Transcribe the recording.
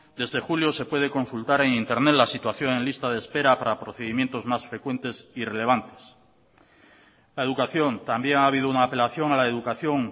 desde julio se puede consultar en internet la situación en lista de espera para procedimientos más frecuentes y relevantes la educación también ha habido una apelación a la educación